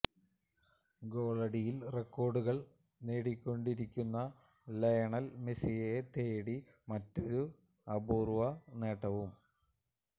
ഗോളടിയില് റെക്കോര്ഡുകള് നേടിക്കൊണ്ടിരിക്കുന്ന ലയണല് മെസിയെ തേടി മറ്റൊരു അപൂര്വ നേട്ടവും